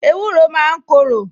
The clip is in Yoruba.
Ewúro máa ń korò